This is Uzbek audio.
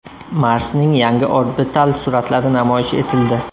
Marsning yangi orbital suratlari namoyish etildi.